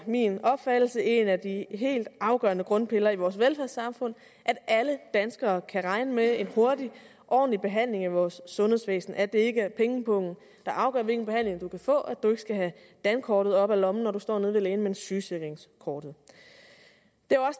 min opfattelse en af de helt afgørende grundpiller i vores velfærdssamfund at alle danskere kan regne med en hurtig ordentlig behandling i vores sundhedsvæsen og at det ikke er pengepungen der afgør hvilken behandling du kan få og at du ikke skal have dankortet op af lommen når du står nede ved lægen men sygesikringskortet det